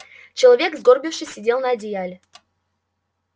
человек сгорбившись сидел на одеяле